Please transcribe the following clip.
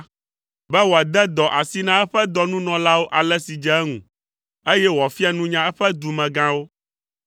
be wòade dɔ asi na eƒe dɔnunɔlawo ale si dze eŋu, eye wòafia nunya eƒe dumegãwo.